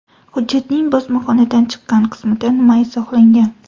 Hujjatning bosmaxonadan chiqqan qismida nima izohlangan?